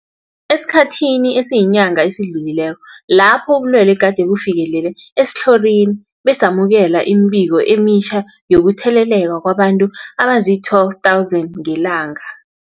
Esikhathini esiyinyanga esidlulileko lapho ubulwele gade bufikelele esitlhorini, besamukela imibiko emitjha yokutheleleka kwabantu abazii-12 000 ngelanga.